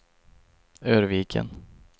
Örviken